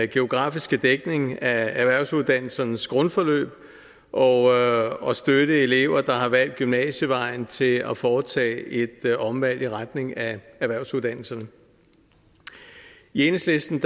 geografiske dækning af erhvervsuddannelsernes grundforløb og og støtte elever der har valgt gymnasievejen til at foretage et omvalg i retning af erhvervsuddannelserne i enhedslisten